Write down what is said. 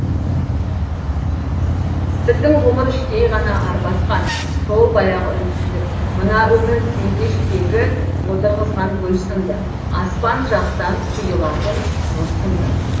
біздің ғұмыр іштей ғана арбасқан сол баяғы үнсіздік мына өмір тегештегі отырғызған гүл сынды аспан жақтан құйылатын нұр сынды